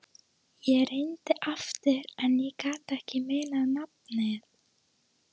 Ég reyndi aftur en ég gat ekki munað nafnið.